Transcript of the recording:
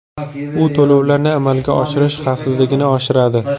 U to‘lovlarni amalga oshirish xavfsizligini oshiradi.